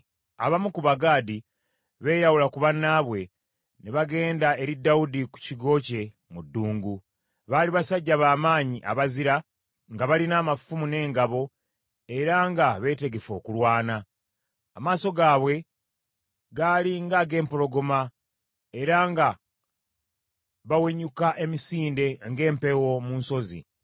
Abamu ku Bagaadi be yawula ku bannaabwe, ne bagenda eri Dawudi ku kigo kye mu ddungu. Baali basajja b’amaanyi abazira nga balina amafumu n’engabo era nga beetegefu okulwana. Amaaso gaabwe gaali nga ag’empologoma, era nga bawenyuka emisinde ng’empeewo mu nsozi.